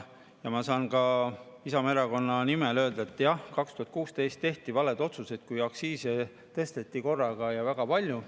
Ma saan ka Isamaa Erakonna nimel öelda, et jah, 2016 tehti valesid otsuseid, kui aktsiise tõsteti korraga ja väga palju.